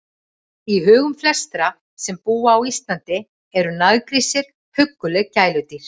Í hugum flestra sem búa á Íslandi eru naggrísir hugguleg gæludýr.